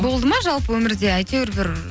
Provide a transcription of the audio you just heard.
болды ма жалпы өмірде әйтеуір бір